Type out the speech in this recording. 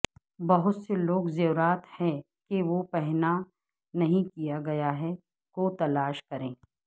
بہت سے لوگ زیورات ہے کہ وہ پہنا نہیں کیا گیا ہے کو تلاش کریں